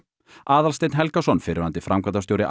Aðalsteinn Helgason fyrrverandi framkvæmdastjóri